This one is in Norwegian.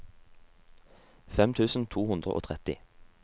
fem tusen to hundre og tretti